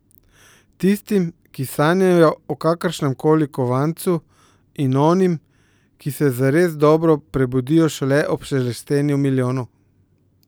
Tistim, ki sanjajo o kakršnem koli kovancu, in onim, ki se zares dobro prebudijo šele ob šelestenju milijonov.